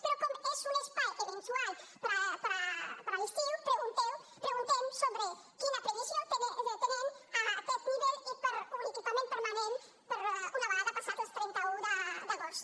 però com que és un espai eventual per a l’estiu preguntem sobre quina previsió tenen a aquest nivell i per un equipament permanent una vegada passat el trenta un d’agost